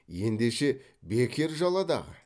ендеше бекер жала дағы